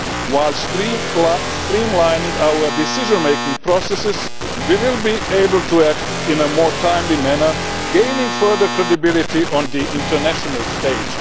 While streamlining our decision making processes, we will be able to act in a more timely manner, gaining further credibility on the international stage.